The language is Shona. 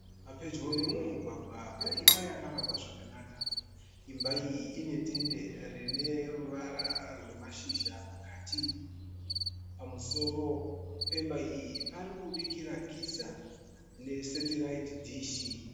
Pedyo nemumugwagwa pane imba yakavakwa zvakanaka. Imba iyi ine tende rine ruvara rwamashisha pakati. Pamusoro pemba iyi pari kubudikira giza nesetiraiti dish.